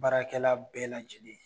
Baarakɛla bɛɛ lajɛlen